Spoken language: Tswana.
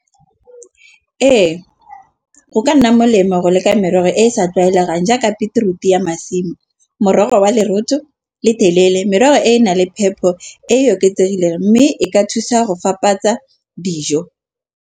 Ee, go ka nna molemo go leka merogo e sa tlwaelegang, jaaka beterutu ya masimo. Morogo wa leroto le telele merogo e nang le phepo e oketsegileng mme e ka thusa go fapatsa dijo.